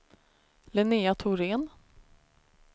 Linnéa Thorén